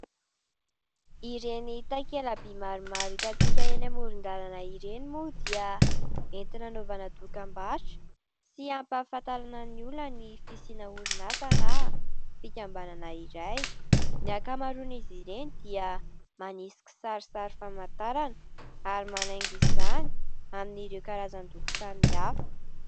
Ireny takela-by maromaro hitantsika eny amoron-dalana ireny moa dia entina hanaovana dokam-barotra sy hampafantarana ny olona ny fisiana orinasa na fikambanana iray. Ny ankamaroan'izy ireny dia manisy kisarisary famantarana ary manaingo izany amin'ireo karazan-doko samy hafa.